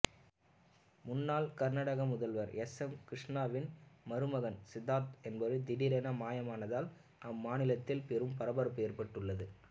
முன்னாள் கர்நாடக முதல்வர் எஸ்எம் கிருஷ்ணாவின் மருமகன் சித்தார்த்தா என்பவர் திடீரென மாயமானதால் அம்மாநிலத்தில் பெரும் பரபரப்பு ஏற்பட்டுள்ளது